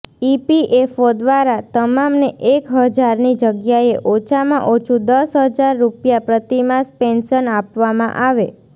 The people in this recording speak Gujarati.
ઈપીએફઓ દ્વારા તમામને એક હજારની જગ્યાએ ઓછામાં ઓછું દસ હજાર રૂપિયા પ્રતિમાસ પેન્શન આપવામાં આવે